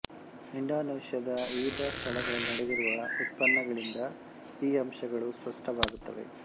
ಇಂಡೊನೇಷ್ಯದ ವಿವಿಧ ಸ್ಥಳಗಳಲ್ಲಿ ನಡೆದಿರುವ ಉತ್ಪನ್ನಗಳಿಂದ ಈ ಅಂಶಗಳು ಸ್ಪಷ್ಟವಾಗುತ್ತವೆ